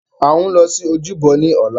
À ń lọ sí ojúbọ ní ọ̀la